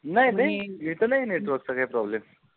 नाइ नाही येत नाही network चा काही problem